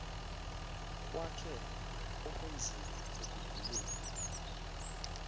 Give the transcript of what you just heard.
kwakhe okunzima ekuguleni